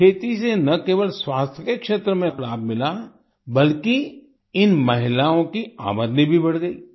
इस खेती से न केवल स्वास्थ्य के क्षेत्र में लाभ मिला बल्कि इन महिलाओं की आमदनी भी बढ़ गई